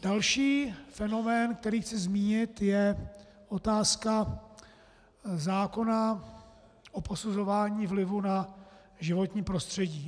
Další fenomén, který chci zmínit, je otázka zákona o posuzování vlivů na životní prostředí.